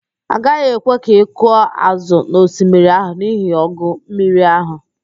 A gaghị ekwe ka ị kụọ ázụ̀ n'osmiri ahụ n'ihi ọgụ mmiri ahụ